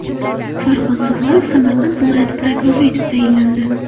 Farhod Zufarov Samarqand viloyati prokurori etib tayinlandi.